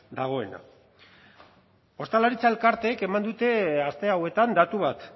dagoena ostalaritza elkarteek eman dute aste hauetan datu bat